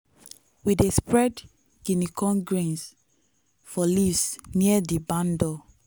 we dey spread guinea corn grains for leaves near di barn door.